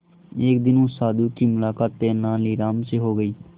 एक दिन उस साधु की मुलाकात तेनालीराम से हो गई